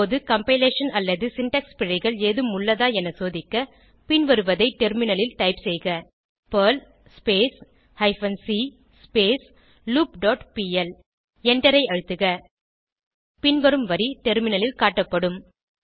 இப்போது கம்பைலேஷன் அல்லது சின்டாக்ஸ் பிழைகள் ஏதும் உள்ளதா என சோதிக்க பின்வருவதை டெர்மினலில் டைப் செய்க Perl hyphen c loop dot pl எண்டரை அழுத்துக பின்வரும் வரி டெர்மினலில் காட்டப்படும்